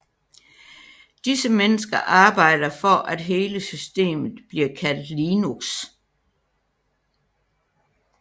Disse mennesker arbejder for at hele systemet bliver kaldt Linux